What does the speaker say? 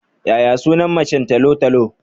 Yaya sunan macen talo-talo?